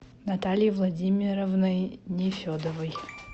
натальей владимировной нефедовой